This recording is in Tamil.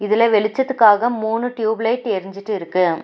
இதுல வெளிச்சத்துக்காக மூணு டியூப் லைட் எரிஞ்சிட்டு இருக்கு.